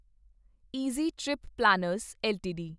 easy trip planners LTD